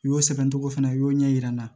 U y'o sɛbɛncogo fana u y'o ɲɛ yira n na